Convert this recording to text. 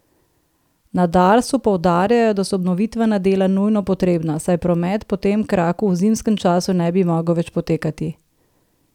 Na Darsu poudarjajo, da so obnovitvena dela nujno potrebna, saj promet po tem kraku v zimskem času ne bi mogel več potekati.